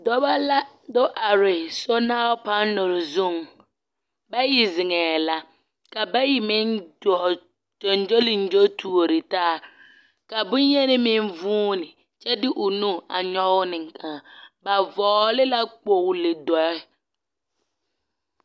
Dɔbɔ la do are sonal panere zuŋ. Bayi zeŋɛɛ la ka bayi meŋ dɔɔ gyoŋgyoliŋgyo tuori taa ka boŋyeni meŋ vuuni kyɛ de o nu a nyɔge ne a… ba vɔgele la kpogili dɔɛ.